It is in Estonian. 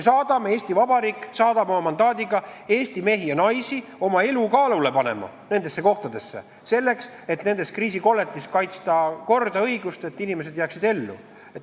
Eesti Vabariik saadab oma mandaadiga Eesti mehi ja naisi nendes kohtades oma elu kaalule panema, selleks et kriisikolletes kaitsta korda ja õigust ning selleks, et inimesed jääksid seal ellu.